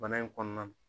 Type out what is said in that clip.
Bana in kɔnɔna na